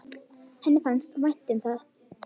Henni fannst vænt um það.